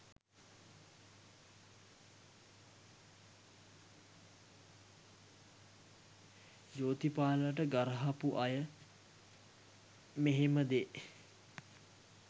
ජෝතිපාලට ගරහපු අය මෙහෙම දේ